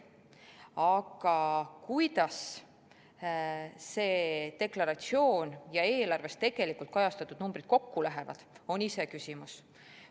Aga kuidas see deklaratsioon ja eelarves tegelikult kajastatud numbrid kokku lähevad, on iseküsimus.